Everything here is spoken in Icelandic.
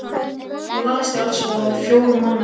lagðist í eldsvoða fjórum mánuðum síðar.